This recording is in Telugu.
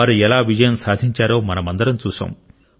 వారు ఎలా విజయం సాధించారో మనమందరం చూశాం